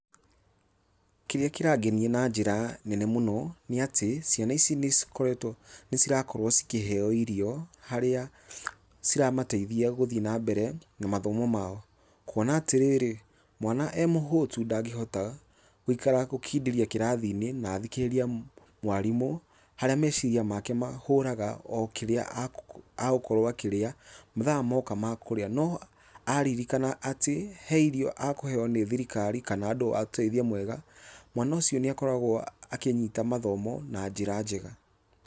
Kĩrĩa kĩrangenia na njĩra nene mũno nĩ atĩ ciana ici nĩcikoretwo nĩcirakorwo cikĩheyo irio, harĩa ciramateithia guthiĩ na mbere na mathomo mao. Kuona atĩrĩrĩ, mwana e mũhũtu ndagĩhota gũikara gũkindĩria kĩrathi-inĩ, na athikĩrĩrie mwarimũ, harĩa meciria make mahũraga o kĩrĩa agũkorwo akĩrĩa mathaa moka ma kũrĩa. No aririkana atĩ he irio akũheo nĩ thirikari kana andũ a ũteithio mwega, mwana ũcio nĩakoragwo akĩnyita mathomo na njĩra njega.